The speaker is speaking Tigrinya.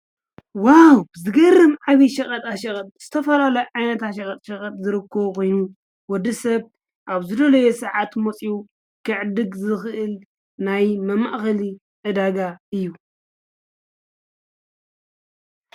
ዋው! ዝገርም ዓብዩ ሸቐጣ ሸቐጥ! ዝተፈላለዩ ዓይነታት ሸቐጣ ሸቐጥ ዝርከቦ ኾይኑ ወዲ ሰብ ኣብ ዝደለዮ ሳዓት መፂኡ ክዕድግ ዝኽእል ናይ መማእኸሊ ዕዳጋ እዩ።